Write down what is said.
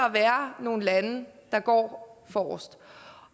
at være nogle lande der går forrest